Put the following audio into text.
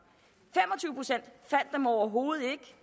fem overhovedet ikke